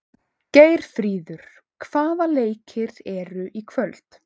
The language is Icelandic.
Geirfríður, hvaða leikir eru í kvöld?